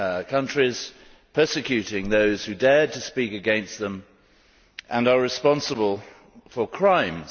countries, persecuting those who dared to speak against them and are responsible for crimes?